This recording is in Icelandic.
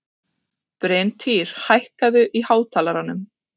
Bryntýr, hækkaðu í hátalaranum.